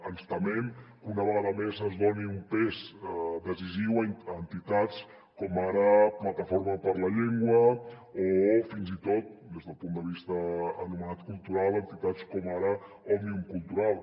ens temem que una vegada més es doni un pes decisiu a entitats com ara plataforma per la llengua o fins i tot des del punt de vista anomenat cultural entitats com ara òmnium cultural